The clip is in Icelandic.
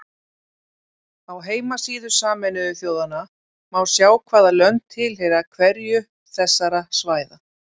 Á heimasíðu Sameinuðu þjóðanna má sjá hvaða lönd tilheyra hverju þessara svæða.